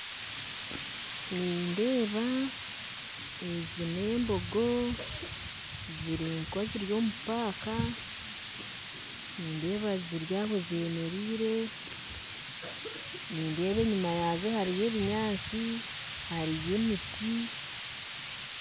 Nindeeba ezi n'embogo ziri nk'eziri omu irindiro ry'enyamaishwa, nindeeba ziro aho z'emereire, nindeeba enyima yaazo hariyo ebinyatsi hariyo n'emiti